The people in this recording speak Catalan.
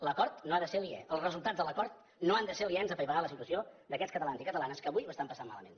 l’acord no n’ha de ser aliè els resultats de l’acord no han de ser aliens a apaivagar la situació d’aquests catalans i catalanes que avui ho estan passant malament